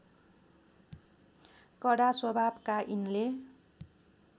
कडा स्वभावका यिनले